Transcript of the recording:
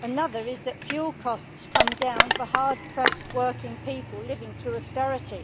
Another is that fuel costs come down for hard pressed working people living through austerity.